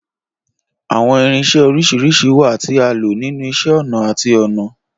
Awọn irinṣẹ oriṣiriṣi wa ti a lo ninu Iṣẹ-ọnà ati Ọnà.